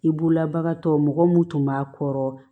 I bolola bagan tɔ mɔgɔ mun tun b'a kɔrɔ